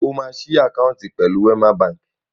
Ṣé o máa ṣí àkáǹtì pẹ̀lú Wẹ́má baǹkì?